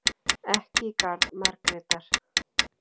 Ekki í garð Margrétar.